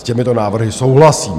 S těmito návrhy souhlasím.